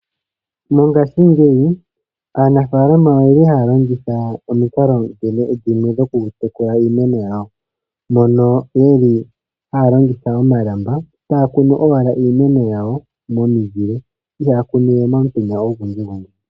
Mongashingeyi aanafalama oyeli haya longitha omikalo dhimwe dhoku tekula iimeno yawo, mono yeli haya longitha omalamba taakunu owala iimeno yawo momizili ihaa ya kunuwe momutenya ogundji gundji.